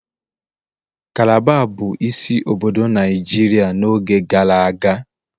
Calabar bụ isi obodo Naijiria n'oge gara aga